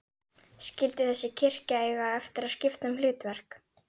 Skyldi þessi kirkja eiga eftir að skipta um hlutverk?